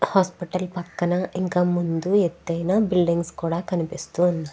Hospital పక్కన ఇంకా ముందు ఎత్తు ఐనా బిల్డింగ్స్ కనపడుతునాయి.